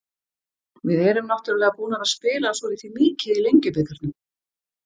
Við erum náttúrulega búnar að spila svolítið mikið í Lengjubikarnum.